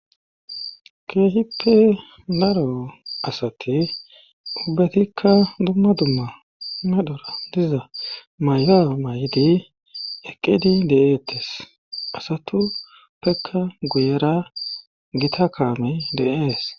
keehippe daro asati ubbetikka dumma dumma medhora diza maya mayido eqqidi de'eettes asatuppekka guyera gita kaamey de'ees